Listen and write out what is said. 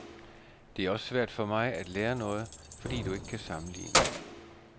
Det er også svært for mig at lære noget, fordi du ikke kan sammenligne.